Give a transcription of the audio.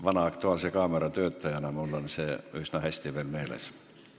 Vana "Aktuaalse kaamera" töötajana on mul see veel üsna hästi meeles.